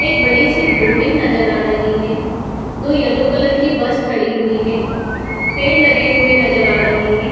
एक बड़ी सी बिल्डिंग नज़र आ रही है। दो येल्लो कलर की बस खड़ी हुई है। पेड़ लगे हुए नज़र आ रहे है